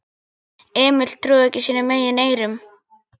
Emil trúði ekki sínum eigin eyrum.